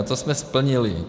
A to jsme splnili.